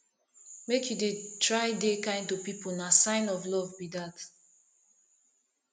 make you dey try dey kind to pipo na sign of love be dat